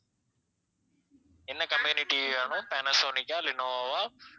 என்ன company TV வேணும் ma'am பேனசோனிக்கா லெனோவோவா?